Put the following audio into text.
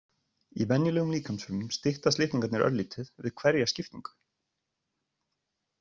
Í venjulegum líkamsfrumum styttast litningarnir örlítið við hverja skiptingu.